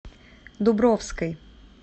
дубровской